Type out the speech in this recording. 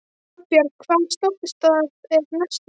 Arnbjörg, hvaða stoppistöð er næst mér?